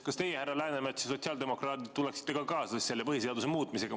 Kas teie, härra Läänemets ja sotsiaaldemokraadid, tuleksite kaasa selle põhiseaduse muutmisega?